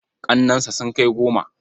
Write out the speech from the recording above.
Ƙannensa sun kai goma.